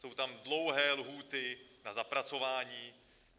Jsou tam dlouhé lhůty na zapracování.